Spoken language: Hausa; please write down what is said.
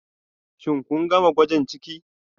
Shin kun gama gwajin ciki